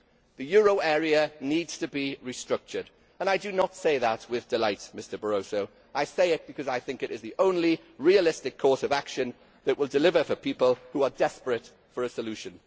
The euro area needs to be restructured, and I do not say that with delight, Mr Barroso. I say it because I think it is the only realistic course of action that will deliver for people who are desperate for a solution.